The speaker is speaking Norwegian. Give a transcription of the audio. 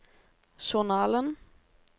journalen